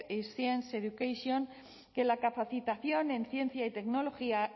science education que la capacitación en ciencia y tecnología